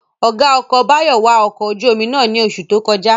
Ọ̀gá ọkọ̀ Báyọ̀ wa ọkọ̀ ojú-omi náà ní oṣù tó kọjá